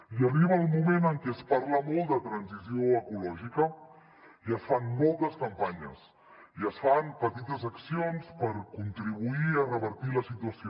i arriba el moment en què es parla molt de transició ecològica i es fan moltes campanyes i es fan petites accions per contribuir a revertir la situació